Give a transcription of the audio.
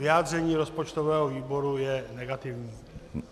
Vyjádření rozpočtového výboru je negativní.